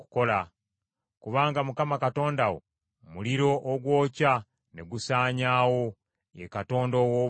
Kubanga Mukama Katonda wo muliro ogwokya ne gusaanyaawo, ye Katonda ow’obuggya.